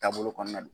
Taabolo kɔnɔna na